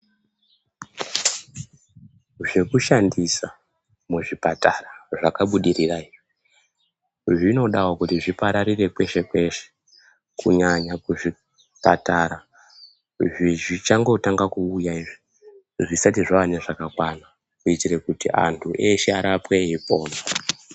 Zvekushandisa muzvipatara zvakabudirira izvi zvinodawo kuti zvipararire kweshe-kweshe, kunyanya kuzvipatara zvichangotanga kuuya izvi, zvisati zvave nezvakakwana kuyitire kuti antu eshe arapwe eyipona.